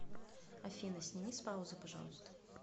афина сними с паузы пожалуйста